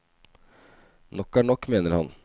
Nok er nok, mener han.